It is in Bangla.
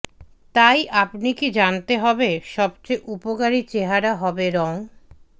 তাই আপনি কি জানতে হবে সবচেয়ে উপকারী চেহারা হবে রং